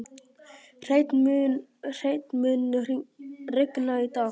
Hreinn, mun rigna í dag?